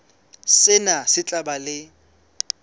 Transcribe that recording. sena se tla ba le